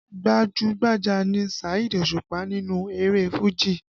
Gbajú-gbajà ni Saheed Òṣùpá nínú eré Fuji